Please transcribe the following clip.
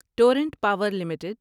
torrent Power limited